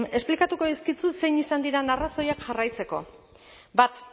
esplikatuko dizkizut zein izan diren arrazoiak jarraitzeko bat